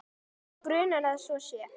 Mig grunar að svo sé.